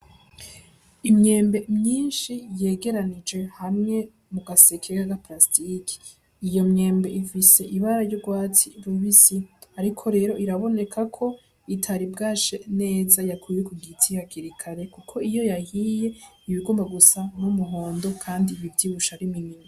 Imyembe myinshi yegeranije hamwe mu gaseke ka parasitike, iyo myembe ifise ibara ry'ugwatsi rubisi ariko rero irabonekako itari bwashe neza yakwuwe kugiti hakiri kare kuko iyo yahiye ibigomba gusa n'umuhondo Kandi ivyibushe ariminini.